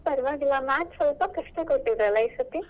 ಹಾ ನಂಗೂ ಪರವಾಗಿಲ್ಲ Maths ಸ್ವಲ್ಪ ಕಷ್ಟ ಕೊಟ್ಟಿದ್ದಲ್ಲ ಈ ಸತಿ?